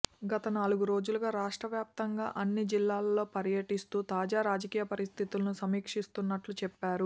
గత నాలుగు రోజులుగా రాష్ట్రవ్యాప్తంగా అన్ని జిల్లాల్లో పర్యటిస్తూ తాజా రాజకీయ పరిస్థితులను సమీక్షిస్తున్నట్లు చెప్పారు